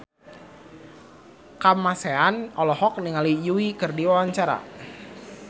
Kamasean olohok ningali Yui keur diwawancara